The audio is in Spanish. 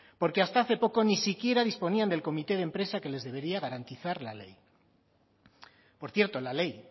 porque hasta hace poco ni siquiera disponían del comité de empresa que les debería garantizar la ley por cierto la ley